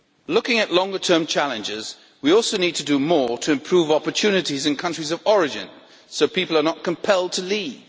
Looking at longer term challenges, we also need to do more to improve opportunities in countries of origin so people are not compelled to leave.